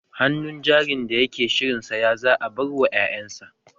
Hannun jarin da yake shirin saya za a bar wa ƴaƴansa